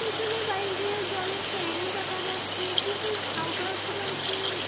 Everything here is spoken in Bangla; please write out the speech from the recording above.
পেছনের বাড়িটিরও জলের ট্যাঙ্ক দেখা যাচ্ছে কিছু ঝাউগাছ রয়েছে-এ।